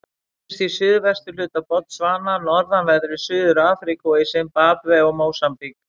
Finnst í suðurhluta Botsvana, norðanverðri Suður-Afríku og í Simbabve og Mósambík.